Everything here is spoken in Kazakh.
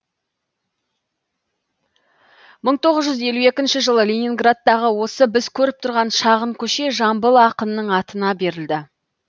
мың тоғыз жүз елу екінші жылы ленинградтағы осы біз көріп тұрған шағын көше жамбыл ақынның атына берілді